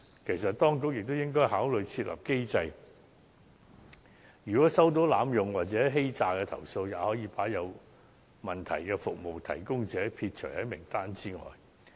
其實，當局也應該考慮設立機制，如果接獲濫用或欺詐的舉報，可把有問題的服務提供者撇除在名單外。